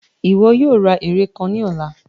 Iwọ yoo ra ere kan ni ọla!